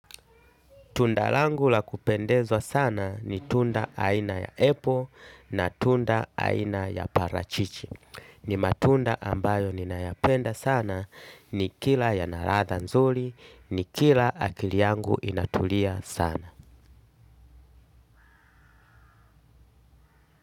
Tunda langu la kupendezwa sana ni tunda aina ya apple na tunda aina ya parachichi. Ni matunda ambayo ninayapenda sana nikila yana radha nzuli nikila akili yangu inatulia sana.